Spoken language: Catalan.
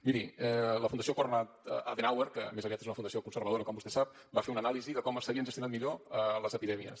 miri la fundació konrad adenauer que més aviat és una fundació conservadora com vostè sap va fer una anàlisi de com s’havien gestionat millor les epidèmies